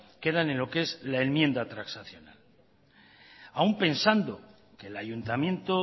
queda en lo que es la enmienda transaccional aun pensando que el ayuntamiento